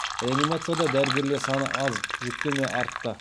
реанимацияда дәрігерлер саны аз жүктеме артты